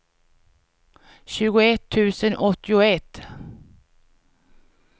tjugoett tusen åttioett